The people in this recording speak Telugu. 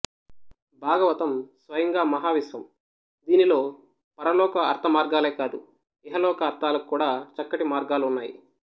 భాగవతం స్వయంగా మహా విశ్వం దీనిలో పరలోక అర్థ మార్గాలే కాదు ఇహలోక అర్థాలకు కూడా చక్కటి మార్గాలు ఉన్నాయి